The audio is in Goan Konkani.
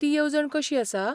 ती येवजण कशी आसा?